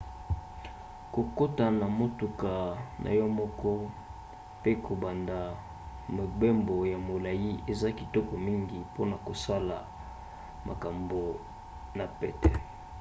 kokota na motuka na yo moko mpe kobanda mobembo ya molai eza kitoko mingi mpona kosala makambo na pete